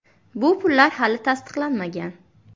Bu pullar hali tasdiqlanmagan.